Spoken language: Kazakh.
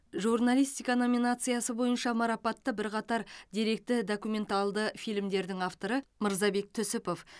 журналистика номинациясы бойынша марапатты бірқатар деректі документалды фильмдердің авторы мырзабек түсіпов